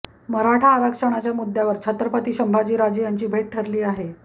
मराठा आरक्षणाच्या मुद्यावर छत्रपती संभाजीराजे यांची भेट ठरली आहे